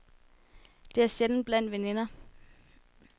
Det er sjældent blandt veninder.